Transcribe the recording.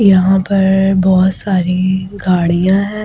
यहां पर बहुत सारी गाड़ियां हैं।